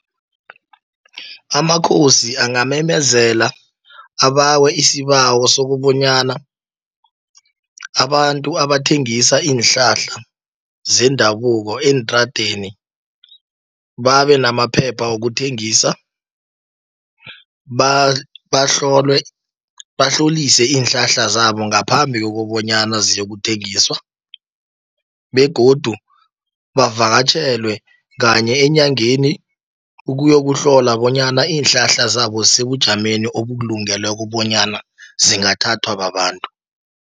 Amakhosi ingamemezela, abawe isibawo sokobonyana, abantu abathengisa iinhlahla zendabuko eentradeni, babenamaphepha wokuthengisa. Bahlolwe, bahlolise iinhlahla zabo ngaphambi kokobonyana ziyokuthengiswa, begodu bavakatjhelwe kanye enyangeni, ukuyokuhlola bonyana iinhlahla zabo sebujameni obulungeleko, bonyana zingathathwa babantu.